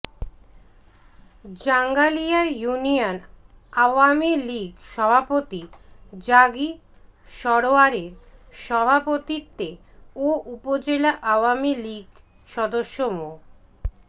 Jangalia union Awami League সভাপতি গাজী সারোয়ারের সভাপতিত্বে ও উপজেলা আওয়ামী লীগ সদস্য মো